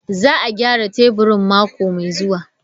Za a gyara teburin mako mai zuwa.